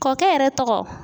Kɔkɛ yɛrɛ tɔgɔ?